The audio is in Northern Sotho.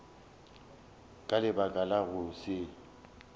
ka lebaka la go se